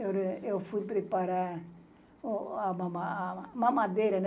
Eu eu fui preparar a mama mamadeira.